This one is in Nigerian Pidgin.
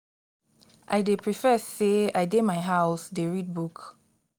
i dey prefer sey i dey my house dey read book.